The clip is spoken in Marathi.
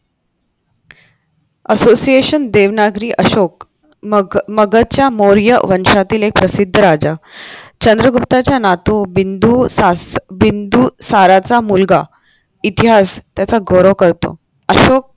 असोसिएशन देवनागरी अशोक मग नगरच्या मौर्य वर्षातील एक प्रसिद्ध राजा चंद्रगुप्ताचा नातू बिंदू सास बिंदू साराच मुलगा इतिहास त्याचा गौरव करतो असो